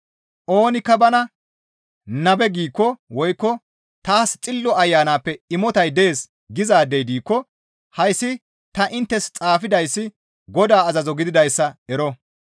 Oonikka bana, «Nabe» giikko woykko, «Taas Xillo Ayanappe imotay dees» gizaadey diikko hayssi ta inttes xaafidayssi Godaa azazo gididayssa ero.